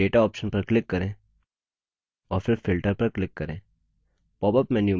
अब मेन्यूबार में data option पर click करें और फिर filter पर click करें